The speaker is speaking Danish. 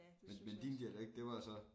Men men din dialekt det var så